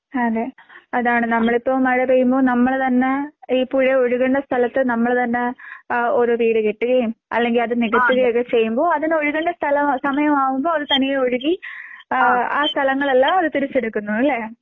അതെ അതാണ് നമ്മളിപ്പോ മഴ പെയ്യുമ്പോ നമ്മള് തന്നെ ഈ പുഴ ഒഴുകുന്ന സ്ഥലത്ത് നമ്മള് തന്നെ ഏഹ് ഒരു വീട് കെട്ടുകയും അല്ലെങ്കി അത് നികത്തുകയോ ഒക്കെ ചെയ്യുമ്പോ അതിന് ഒഴുകണ്ട സ്ഥല സമയമാകുമ്പോ അത് തനിയെ ഒഴുകി ആഹ് ആ സ്ഥലങ്ങളെല്ലാം അത് തിരിച്ചെടുക്കുന്നു അല്ലേ?